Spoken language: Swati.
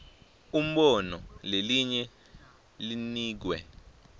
umbono lelinye linikwe